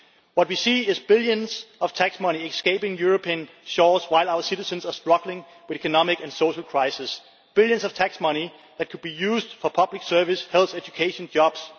What we see is billions in tax money escaping European shores while our citizens are struggling with economic and social crisis billions in tax money that could be used for public services, health, education and jobs.